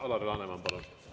Alar Laneman, palun!